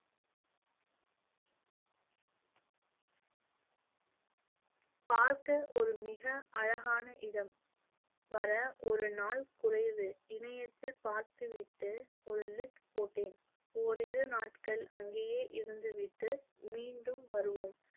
பார்க்க ஒரு மிக அழகான இடம் வர ஒரு நாள் குறைவு இணையத்தில் பார்த்துவிட்டு ஒரு list போட்டேன். ஓரிரு நாட்கள் அங்கேயே இருந்துவிட்டு மீண்டும் வருவோம்